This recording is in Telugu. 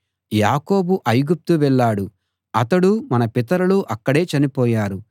యాకోబు ఐగుప్తు వెళ్ళాడు అతడూ మన పితరులూ అక్కడే చనిపోయారు